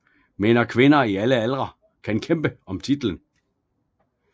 Mænd og kvinder i alle aldre kan kæmpe om titlen